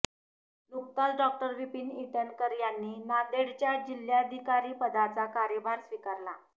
नुकताच डॉ विपीन इटनकर यांनी नांदेडच्या जिल्हाधिकारीपदाचा कार्यभार स्वीकारला